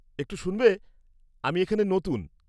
একটু শুনবে, আমি এখানে নতুন।